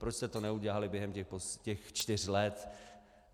Proč jste to neudělali během těch čtyř let?